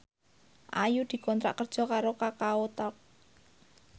Ayu dikontrak kerja karo Kakao Talk